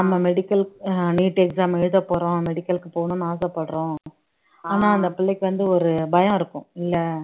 நம்ம medical அஹ் NEETexam எழுத போறோம் medical க்கு போகணும்னு ஆசைப்படுறோம் ஆனா அந்த பிள்ளைக்கு வந்து ஒரு பயம் இருக்கும் இல்லை